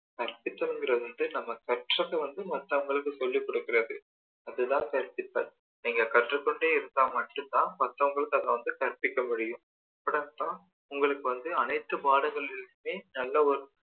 கற்பித்தலுங்கறது வந்து நம்ம கற்றத வந்து மற்றவங்களுக்கு சொல்லி கொடுக்கிறது அது தான் கற்பித்தல் நீங்க கற்று கொண்டே இருந்தா மட்டும் தான் மற்றவங்களுக்கு அதை கற்பிக்க முடியும் உங்களுக்கு வந்து அனைத்து பாடங்கள்ளையுமே நல்ல ஒரு